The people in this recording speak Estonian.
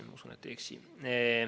Ma usun, et ei eksi.